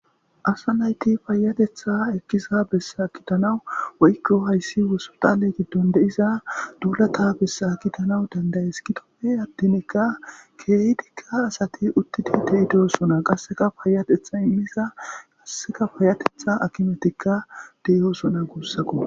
asa nayti payatetha ekkisa bessa kidanaw woykko hayssi woso tale giddon de7iza duulata bessa kidanaw danday eskitopfe attinikka keehdikka asati uttidi de7idosona qasseka payatetha immisa qasseka payatetha akimetikka de7yyosona guussako